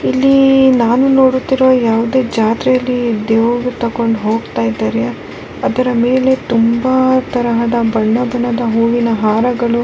ಹಾಗೂ ಆದಿಕ್ಕೇ ಬಾರೀ ಡೆಕೋರೇಷನೆಲ್ಲ ಮಾಡಿ ಬಾರಿ ಚನ್ನಾಗ್ಮಾಡ್ತಾರೆ.